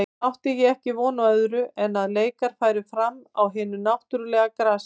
Átti ég ekki von á öðru en að leikar færu fram á hinu náttúrulega grasi.